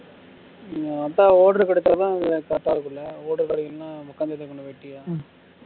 அதான் order கிடைச்சதான் correct ஆ இருக்கும்ல order கிடைக்கலன்னா உக்காந்துட்டுதான் இருக்கனும் வெட்டியா